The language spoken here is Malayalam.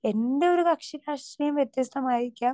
സ്പീക്കർ 2 എന്റെ ഒരു കക്ഷിരാഷ്ട്രീയം വ്യത്യസ്ഥമായേക്കാം